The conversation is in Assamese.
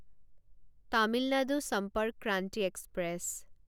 তামিল নাডু সম্পৰ্ক ক্ৰান্তি এক্সপ্ৰেছ